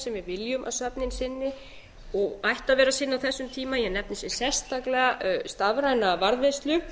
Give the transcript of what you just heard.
við viljum að söfnin sinni og ættu að vera að sinna á þessum tíma ég nefni sérstaklega stafræna varðveislu